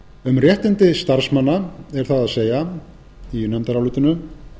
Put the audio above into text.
um réttindi starfsmanna er það að segja í nefndarálitinu